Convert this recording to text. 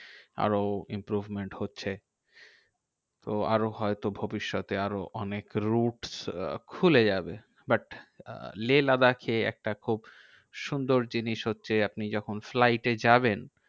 আরও improvement হচ্ছে। তো আরও হয়তো ভবিষ্যতে আরো অনেক route আহ খুলে যাবে। but লেহ লাদাখে একটা খুব সুন্দর জিনিস হচ্ছে আপনি যখন flight এ যাবেন